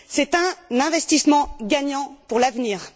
C'est un investissement gagnant pour l'avenir.